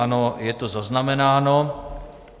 Ano, je to zaznamenáno.